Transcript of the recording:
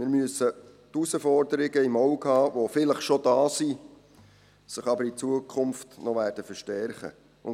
Wir müssen die Herausforderungen im Auge behalten, die vielleicht schon da sind, sich aber in Zukunft noch verstärken werden.